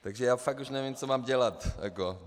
Takže já fakt už nevím, co mám dělat.